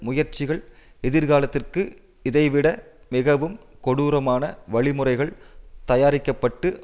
முயற்சிகள் எதிர்காலத்திற்கு இதைவிட மிகவும் கொடூரமான வழிமுறைகள் தயாரிக்க பட்டு